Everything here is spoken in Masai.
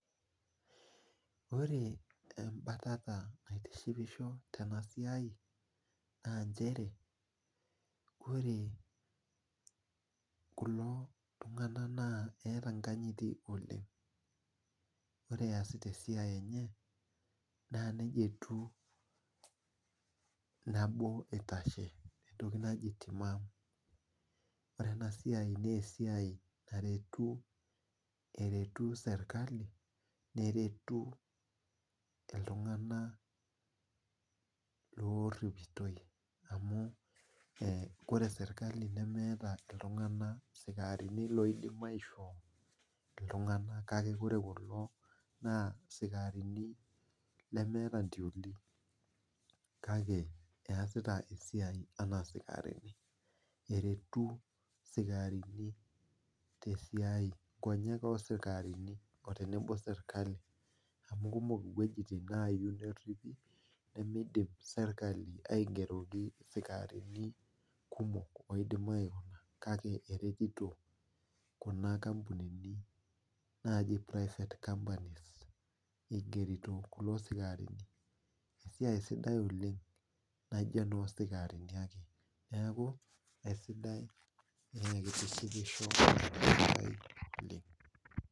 Ore embatata naitishipisho tenasiai na nchere ore kulo tunganak eeta enkanyiti oleng ore easita esiai enye na nejjia etiu nabo itashe ore enasiai na esiai naretu serkali neretu ltunganak loripitoi amu ore serkali nemeta sikarini oidim aishoo ltunganak kake ore kulo na sikarini lemeeta ntoli kake easita esaii ana intioli kake ertu sikarini tesiai, nkonyek osikarini tenebo serkali amu kumok weujitin nayieu neripi sikarini kumok oidim kake eretiti kuna ampunini naji private hospital igerito kulo sikarini esiai sidai oleng amu ino enosikarini ake.